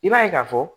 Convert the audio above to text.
I b'a ye k'a fɔ